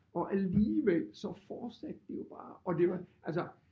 Og alligevel så fortsatte det jo bare og det var altså